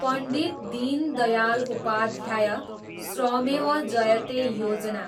Pandit Deendayal Upadhyay Shramev Jayate Yojana